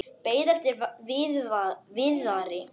Beið eftir Viðari.